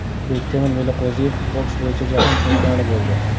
Bektemir Meliqo‘ziyev boks bo‘yicha jahon chempioni bo‘ldi.